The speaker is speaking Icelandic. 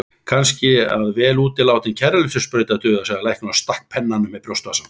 Kannski að vel útilátin kæruleysissprauta dugi, sagði læknirinn og stakk pennanum í brjóstvasann.